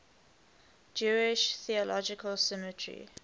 jewish theological seminary